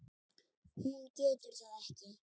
Hún getur það ekki.